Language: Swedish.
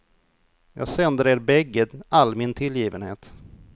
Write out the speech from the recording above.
Jag sänder er bägge all min tillgivenhet.